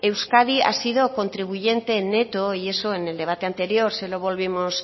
euskadi ha sido contribuyente neto y eso en el debate anterior